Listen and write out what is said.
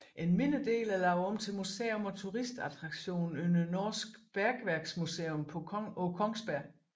En mindre del er lavet om til museum og turistattraktion under Norsk Bergverksmuseum på Kongsberg